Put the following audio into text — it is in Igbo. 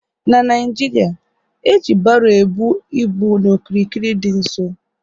N'Naijiria, e ji baro ebu ịbụ n'okirikiri dị nso